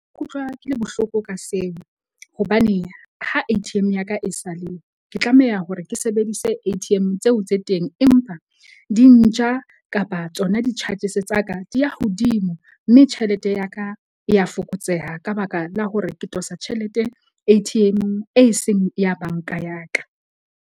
Ke utlwa ke le bohloko ka seo hobane ha A_T_M ya ka e ke tlameha hore ke sebedise A_T_M tseo tse teng empa di nja kapa tsona di-charges tsa ka di ya hodimo. Mme tjhelete ya ka e ya fokotseha ka baka la hore ke tosa tjhelete A_T_M-ong, e seng ya bank-a ya ka.